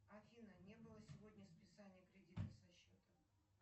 афина не было сегодня списания кредита со счета